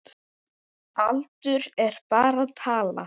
Aldur er bara tala.